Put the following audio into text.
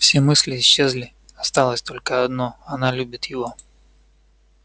все мысли исчезли осталось только одно она любит его